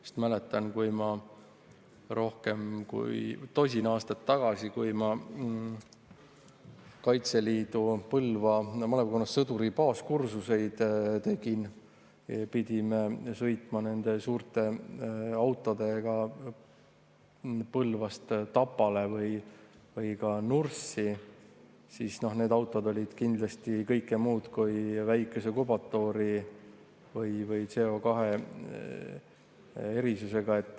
Sest ma mäletan, kui ma rohkem kui tosin aastat tagasi, kui ma Kaitseliidu Põlva malevkonnas sõduri baaskursuseid tegin, pidime sõitma nende suurte autodega Põlvast Tapale või ka Nurssi, siis need autod olid kindlasti kõike muud kui väikese kubatuuri või CO2 eritusega.